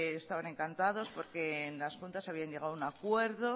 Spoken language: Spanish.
estaban encantados porque en las juntas habían llegado a un acuerdo